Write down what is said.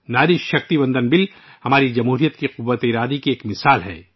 ناری شکتی وندن ادھینیم ، سنکلپ شکتی کی ایک مثال ہے، جو جمہوریت کے عزم کی قوت ہے